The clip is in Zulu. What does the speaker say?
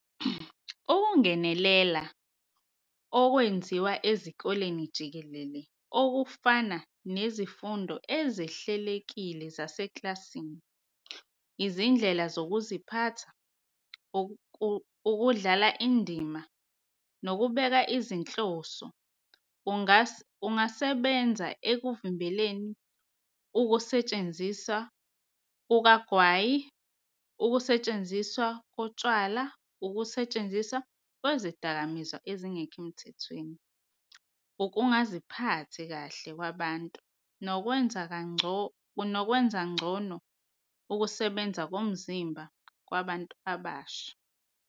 Ukungenelela okwenziwa ezikoleni jikelele okufana nezifundo ezihlelekile zasekilasini, izindlela zokuziphatha, ukudlala indima, nokubeka izinhloso kungasebenza ekuvimbeleni ukusetshenziswa kukagwayi, ukusetshenziswa kotshwala, ukusetshenziswa kwezidakamizwa ezingekho emthethweni, ukungaziphathi kahle kwabantu, nokwenza ngcono ukusebenza komzimba kwabantu abasha.